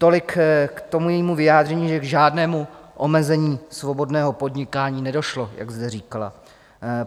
Tolik k tomu jejímu vyjádření, že k žádnému omezení svobodného podnikání nedošlo, jak zde říkala.